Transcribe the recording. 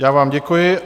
Já vám děkuji.